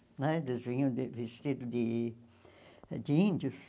Né eles vinham de vestido de de índios.